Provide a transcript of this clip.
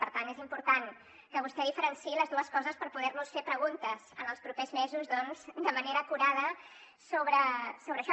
per tant és important que vostè diferenciï les dues coses per poder nos fer preguntes en els propers mesos doncs de manera acurada sobre això